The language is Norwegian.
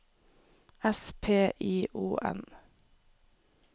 S P I O N